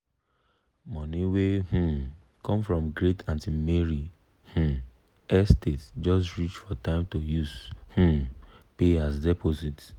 money wey um come from great aunty mary um estate just reach for time to use um pay as deposit.